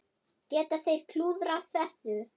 Geta þeir klúðrað þessu?